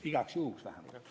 Igaks juhuks palun küll.